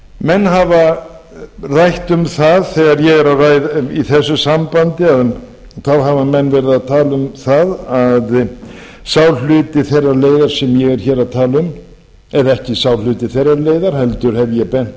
menn hafa rætt um það í þessu sambandi hafa menn verið að tala um það að sá hluti þeirrar leiðar sem ég er hér að tala um eða ekki sá hluti þeirrar leiðar heldur hef ég bent